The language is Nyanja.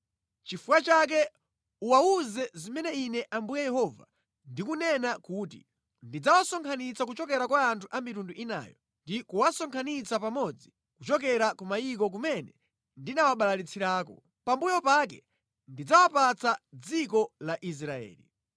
“Nʼchifukwa chake uwawuze zimene Ine Ambuye Yehova ndikunena kuti, Ndidzawasonkhanitsa kuchokera kwa anthu a mitundu inayo ndi kuwasonkhanitsira pamodzi kuchokera ku mayiko kumene ndinawabalalitsirako. Pambuyo pake ndidzawapatsa dziko la Israeli.